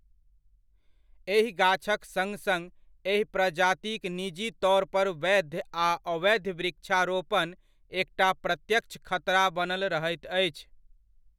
एहि गाछक सङ्ग सङ्ग एहि प्रजातिक निजी तौर पर वैध आ अवैध वृक्षारोपण एकटा प्रत्यक्ष खतरा बनल रहैत अछि।